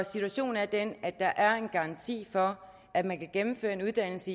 situationen er den at der er en garanti for at man kan gennemføre en uddannelse